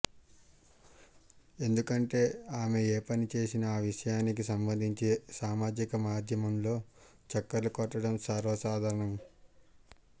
ఎందుకంటే ఆమె ఏ పని చేసినా ఆ విషయానికి సంబంధించి సామాజిక మాధ్యమంలో చక్కర్లు కొట్టడం సర్వసాధారణం